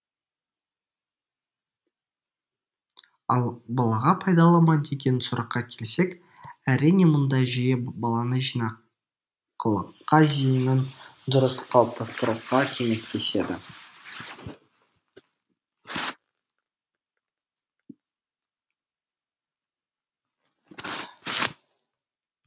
ал балаға пайдалы ма деген сұраққа келсек әрине мұндай жүйе баланы жинақылыққа зейінін дұрыс қалыптастыруға көмектеседі